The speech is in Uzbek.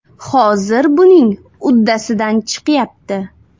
Hozir buning uddasidan chiqyapti.